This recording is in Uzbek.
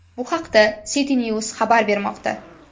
Bu haqda CityNews xabar bermoqda .